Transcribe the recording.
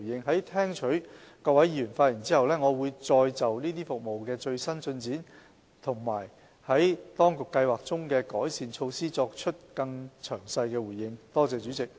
在聽取各位議員的發言後，我會再就這些服務的最新進展和政府計劃中的改善措施作出更詳細的回應。